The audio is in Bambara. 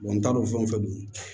n t'a dɔn fɛn fɛn don